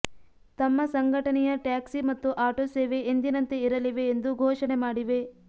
ತಮ್ಮ ಸಂಘಟನೆಯ ಟ್ಯಾಕ್ಸಿ ಮತ್ತು ಆಟೋ ಸೇವೆ ಎಂದಿನಂತೆ ಇರಲಿವೆ ಎಂದು ಘೋಷಣೆ ಮಾಡಿವೆ